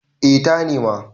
eh ta nema